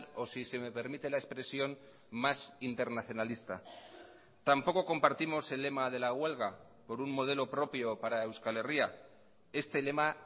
o si se me permite la expresión más internacionalista tampoco compartimos el lema de la huelga por un modelo propio para euskal herria este lema